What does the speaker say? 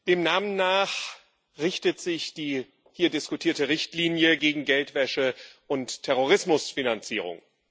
Dem Namen nach richtet sich die hier diskutierte Richtlinie gegen Geldwäsche und Terrorismusfinanzierung.